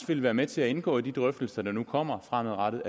vil være med til at indgå i de drøftelser der nu kommer fremadrettet